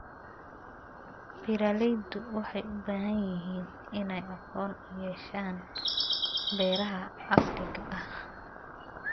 Beeraleydu waxay u baahan yihiin inay aqoon u yeeshaan beeraha casriga ah.